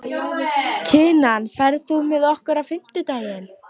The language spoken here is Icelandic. Kinan, ferð þú með okkur á fimmtudaginn?